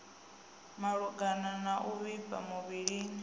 malugana na u vhifha muvhilini